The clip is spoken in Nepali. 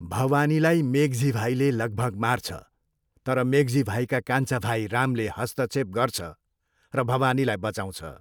भवानीलाई मेघजी भाइले लगभग मार्छ, तर मेघजी भाइका कान्छा भाइ रामले हस्तक्षेप गर्छ र भवानीलाई बचाउँछ।